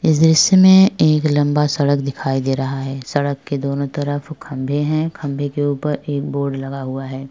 इस दृश्य में एक लंबा सड़क दिखाई दे रहा है सड़क के दोनों तरफ खम्भे हैं खम्भे के ऊपर एक बोर्ड लगा हुआ है।